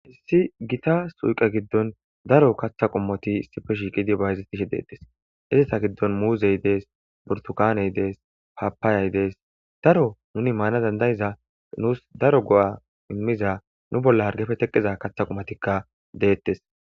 Hayissi gita suyqa giddon daro kaththa qummoti sipe shiiqidi bayzis tishe deettes hizeta giddon muuzey dees burtukaaney dees papaayay dees daro nuni maana dandayiza nuus daro go'a immiza nu bolla hargefe teqqiza kaththa qumotikka deettes.